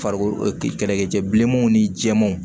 Farikolo kɛlɛkɛcɛ bilemanw ni jɛmanw